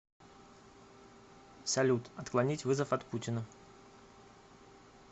салют отклонить вызов от путина